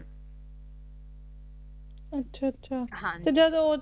ਅੱਛਾ ਅੱਛਾ ਤੇ ਜਦ